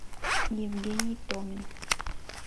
евгений томин